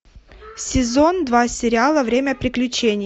сезон два сериала время приключений